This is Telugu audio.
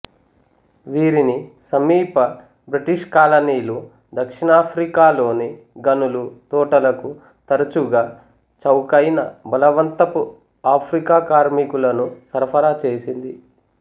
వీరిని సమీప బ్రిటిషు కాలనీలు దక్షిణాఫ్రికాలోని గనులు తోటలకు తరచుగా చౌకైన బలవంతపుఆఫ్రికా కార్మికులను సరఫరా చేసింది